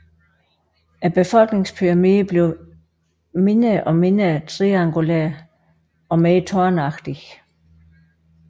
Befolkningspyramiden bliver mindre og mindre triangulær og mere tårnagtig